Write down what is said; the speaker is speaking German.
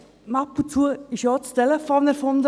Einst wurde das Telefon erfunden.